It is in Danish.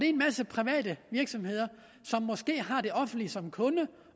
en masse private virksomheder som måske har det offentlige som kunde